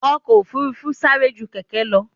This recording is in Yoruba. Ọkò òfurufú ń sárẹ́ jú kẹ̀kẹ́ lọ.